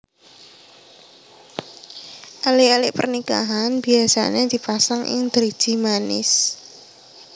Ali ali pernikahan biyasane dipasang ing driji manis